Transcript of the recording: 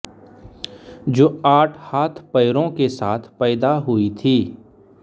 जो आठ हाथपैरों के साथ पैदा हुई थी